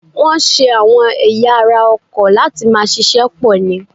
Wọn ṣe àwọn ẹ̀ya ara ọkọ̀ láti máa ṣíṣe pò ni.